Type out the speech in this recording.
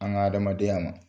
An ka adamadenya an ma.